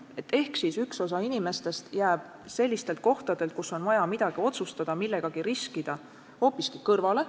Näiteks jääb üks osa inimestest sellistelt kohtadelt, kus on vaja midagi otsustada, millegagi riskida, hoopiski kõrvale.